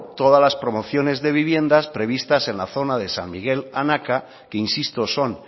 todas las promociones de viviendas previstas en la zona de san miguel anaka que insisto son